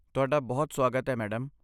ਤੁਹਾਡਾ ਬਹੁਤ ਸੁਆਗਤ ਹੈ, ਮੈਡਮ।